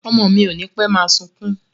Ọmọ mi ò nipe máa sunkún